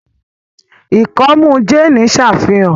ikọmu Jane n ṣàfihàn